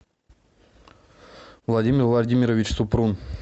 владимир владимирович супрун